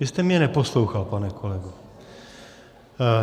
Vy jste mě neposlouchal, pane kolego.